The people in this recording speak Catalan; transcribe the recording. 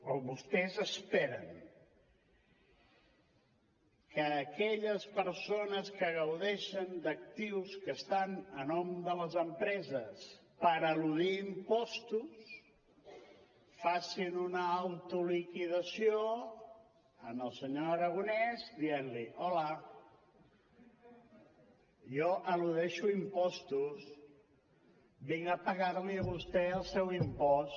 o vostès esperen que aquelles persones que gaudeixen d’actius que estan a nom de les empreses per eludir impostos facin una autoliquidació al senyor aragonès dient li hola jo eludeixo impostos vinc a pagar li a vostè el seu impost